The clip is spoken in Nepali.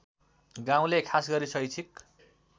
गाउँले खासगरी शैक्षिक